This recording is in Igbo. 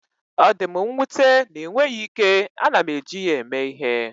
Ọ dị m nwute na ịnweghị ike, ana m eji ya eme ihe.